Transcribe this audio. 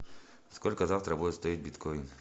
сколько завтра будет стоить биткоин